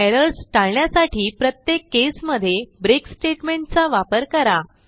errors टाळण्यासाठी प्रत्येक केसमध्ये ब्रेक स्टेटमेंट चा वापर करा